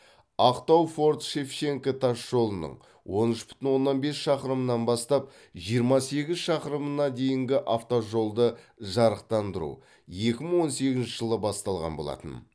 ақтау форт шевченко тас жолының он үш бүтін оннан бес шақырымынан бастап жиырма сегіз шақырымына дейінгі автожолды жарықтандыру екі мың он сегізінші жылы басталған болатын